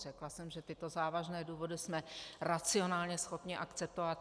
Řekla jsem, že tyto závažné důvody jsme racionálně schopni akceptovat.